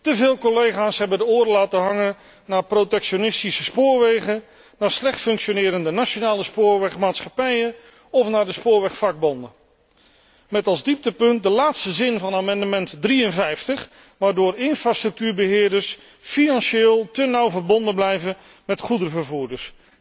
Te veel collega's hebben de oren laten hangen naar protectionistische spoorwegen, naar slecht functionerende nationale spoorwegmaatschappijen of naar de spoorwegvakbonden, met als dieptepunt de laatste zin van amendement 53 waardoor infrastructuurbeheerders financieel te nauw verbonden blijven met goederenvervoerders.